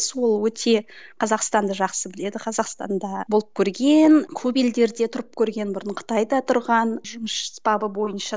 сол өте қазақстанды жақсы біледі қазақстанда болып көрген көп елдерде тұрып көрген бұрын қытайда тұрған жұмыс бабы бойынша